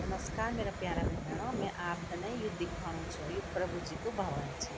नमस्कार मेरा प्यारा भे-भणो में आपते न यु दिखाणु छों यु प्रभु जी कु भवन च।